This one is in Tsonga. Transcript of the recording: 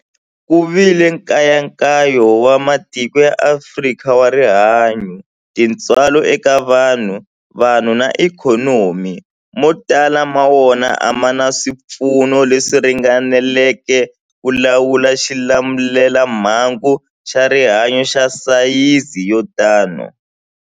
Ku vile nkayakayo wa matiko ya Afrika wa rihanyu, tintswalo eka vanhu, vanhu na ikhonomi, mo tala ma wona a ma na swipfuno leswi ringaneleke ku lawula xilamulelamhangu xa rihanyu xa sayizi yo tani.